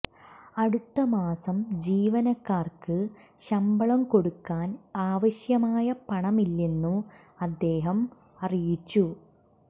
അടുത്ത മാസം ജീവനക്കാര്ക്ക് ശമ്പളം കൊടുക്കാൻ ആവശ്യമായ പണമില്ലെന്നും അദ്ദേഹം അറിയിച്ചു